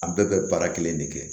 An bɛɛ bɛ baara kelen de kɛ